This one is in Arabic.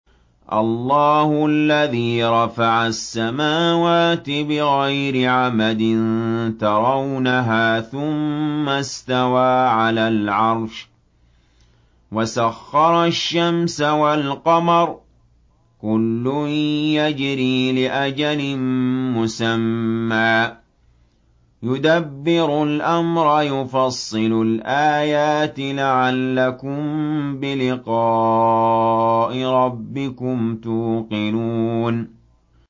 اللَّهُ الَّذِي رَفَعَ السَّمَاوَاتِ بِغَيْرِ عَمَدٍ تَرَوْنَهَا ۖ ثُمَّ اسْتَوَىٰ عَلَى الْعَرْشِ ۖ وَسَخَّرَ الشَّمْسَ وَالْقَمَرَ ۖ كُلٌّ يَجْرِي لِأَجَلٍ مُّسَمًّى ۚ يُدَبِّرُ الْأَمْرَ يُفَصِّلُ الْآيَاتِ لَعَلَّكُم بِلِقَاءِ رَبِّكُمْ تُوقِنُونَ